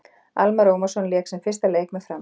Almarr Ormarsson lék sinn fyrsta leik með Fram.